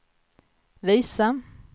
visa